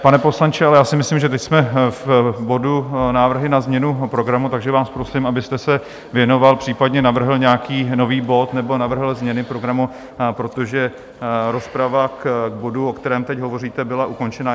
Pane poslanče, ale já si myslím, že teď jsme v bodu Návrhy na změnu programu, takže vás prosím, abyste se věnoval, případně navrhl nějaký nový bod nebo navrhl změny programu, protože rozprava k bodu, o kterém teď hovoříte, byla ukončena.